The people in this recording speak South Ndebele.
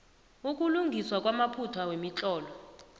ukulungiswa kwamaphutha wemitlolo